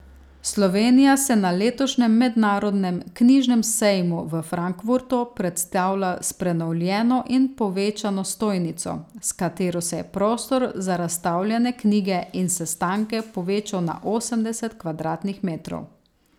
Slovenija se na letošnjem mednarodnem knjižnem sejmu v Frankfurtu predstavlja s prenovljeno in povečano stojnico, s katero se je prostor za razstavljene knjige in sestanke povečal na osemdeset kvadratnih metrov.